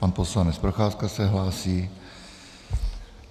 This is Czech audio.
Pan poslanec Procházka se hlásí.